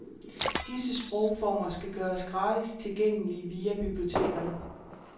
Disse sprogformer skal gøres gratis tilgængelige via bibliotekerne.